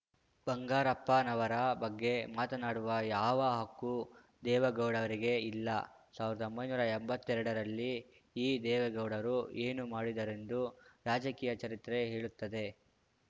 ಬಂಗಾರಪ್ಪನವರ ಬಗ್ಗೆ ಮಾತನಾಡುವ ಯಾವ ಹಕ್ಕು ದೇವೇಗೌಡರಿಗೆ ಇಲ್ಲ ಸಾವಿರದೊಂಬೈನೂರಾ ಎಂಬತ್ತೆರಡರಲ್ಲಿ ಈ ದೇವೇಗೌಡರು ಏನು ಮಾಡಿದರೆಂದು ರಾಜಕೀಯ ಚರಿತ್ರೆ ಹೇಳುತ್ತದೆ